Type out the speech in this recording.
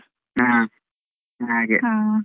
ಹಾ, ಹಾಗೆ.